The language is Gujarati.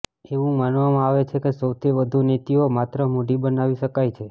એવું માનવામાં આવે છે કે સૌથી વધુ નીતિઓ માત્ર મૂડી બનાવી શકાય છે